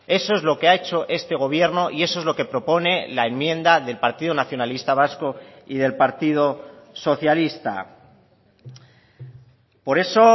eso es lo que ha hecho este gobierno y eso es lo que propone la enmienda del partido nacionalista vasco y del partido socialista por eso